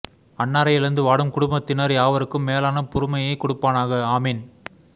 அன்னாரை இழந்து வாடும் குடும்பத்தினர் யாவருக்கும் மேலான பொறுமையை கொடுப்பானாக ஆமீன்